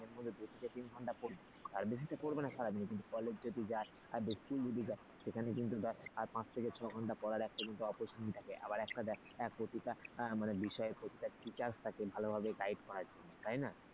থেকে তিন ঘন্টা পড়ি তার বেশি তো পড়বে না সারাদিন school যদি যায় সেখানে কিন্তু তার পাঁচ থেকে ছয় ঘন্টা আবার একটা দেখ প্রত্যেকটা বিষয়ের মানে প্রত্যেকটা teachers থাকে ভালো ভালো guide করার জন্য তাই না